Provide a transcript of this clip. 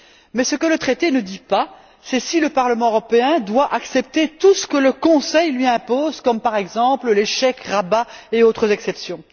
Mais ce que le traité ne dit pas, c'est si le Parlement européen doit accepter tout ce que le Conseil lui impose comme, par exemple, les chèques, rabais et autres exceptions.